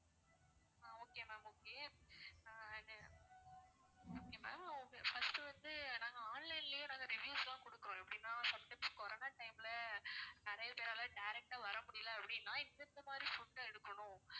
ஆஹ் okay ma'am okay அது okay ma'am உங்க first வந்து நாங்க online லயே நாங்க reviews லாம் கொடுக்குறோம் எப்படின்னா sometimes கொரோனா time ல நிறைய பேரால direct டா வர முடியல அப்படின்னா இந்தெந்த மாதிரி foods லாம் எடுக்கணும்